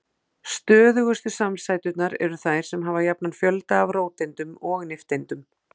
Stöðugustu samsæturnar eru þær sem hafa jafnan fjölda af róteindum og nifteindum.